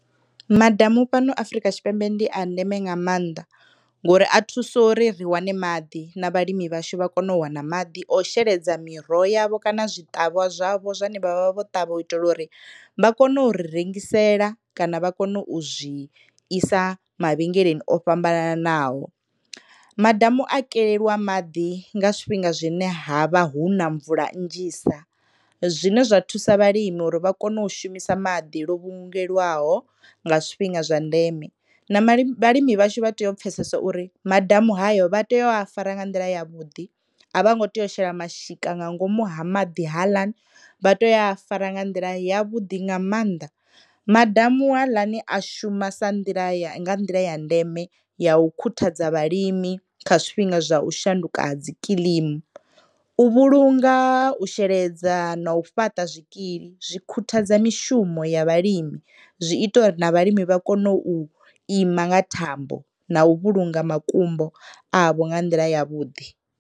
Madamu fhano Afurika Tshipembe ndi a ndeme nga mannḓa ngori a thusa uri ri wane maḓi na vhalimi vhashu vha kone u wana maḓi a u shela miroho yavho kana zwiṱavhwa zwavho zwane vha vha vho ṱavha u itela uri vha kone u ri rengisela kana vha kone u zwi isa mavhengeleni o fhambananaho. Madamu a keleliwa maḓi nga zwifhinga zwine havha hu na mvula nnzhisa zwine zwa thusa vhalimi uri vha kone u shumisa maḓi nga nḓila lwo vhulungelwaho nga zwifhinga zwa ndeme na vhalimi vhashu vha tea u pfhesesa uri madamu hayo vha tea u a fara nga nḓila ya vhuḓi, a vho ngo tea u shela mashika nga ngomu ha maḓi haaḽani vha tea u fara nga nḓila ya vhuḓi nga mannḓa. Madamu haaḽani a shuma sa nḓila, nga nḓila ya ndeme ya u khuthadza vhalimi kha zwifhinga zwa u shanduka ha dzikilimi u vhulunga, u sheledza no fhaṱa zwikili zwi khuthadza mishumo ya vhalimi zwi ita uri na vhalimi vha kone u ima nga thambo na u vhulunga makumbo avha nga nḓila ya vhuḓi.